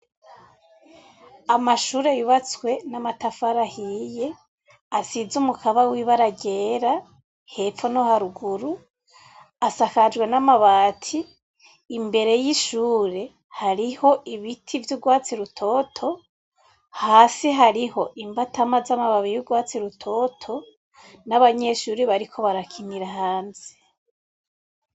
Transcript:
Amashure yubatswe n'amatafaraahiye asize umukaba wiba aragera hepfo no haruguru asakajwe n'amabati imbere y'ishure hariho ibiti vy'urwatsi rutoto hasi hariho imbatama z'amababi y'urwatsi ruoa toto n'abanyeshuri bariko barakinira hanze.